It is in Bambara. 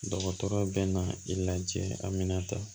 Dɔgɔtɔrɔ bɛ na i lajɛ a mina ta